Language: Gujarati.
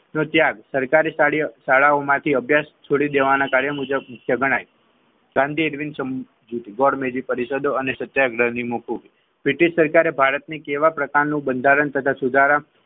સરકારે શાળાઓમાંથી અભ્યાસ છોડી દેવાના કાર્ય મુજબ મુખ્ય ગણાય બ્રિટિશ સરકારે ભારતની